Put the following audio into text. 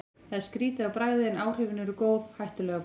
Það er skrýtið á bragðið, en áhrifin eru góð, hættulega góð.